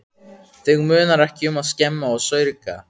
Þig munar ekki um að skemma og saurga.